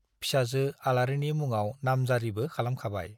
फिसाजो आलारिनि मुङाव नामजारिबो खालामखाबाय।